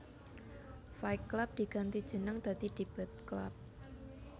Fight Club diganti jenenge dadi Debate Club